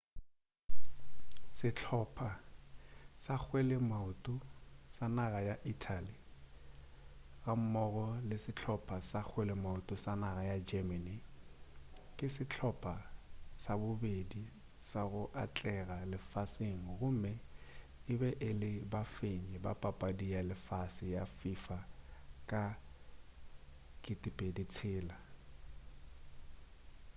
sehlopa sa kgweleamaoto sa naga ya italy ga mmogo le sehlopa sa kgweleamaoto sa naga ya germany ke sehlopa sa bobedi sa go atlega lefaseng gomme e be e le bafenyi ba papadi ya lefase ya fifa ka 2006